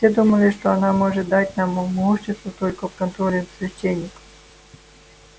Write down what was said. все думали что она может дать нам могущество только под контролем священников